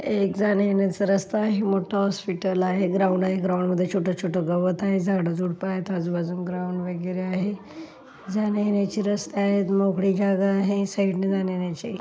ये एक जाण्यायेण्याचा रस्ता आहे. मोठ हॉस्पिटल आहे. ग्राउंड आहे. ग्राउंडमध्ये छोट-छोट गवत आहे. झाडझूड़प आहेत. आजूबाजून ग्राउंड वगैरे आहे. जाण्यायेण्याची रस्ता आहे. मोकळी जागा आहे. साईड नी जाण्यायेण्याचे--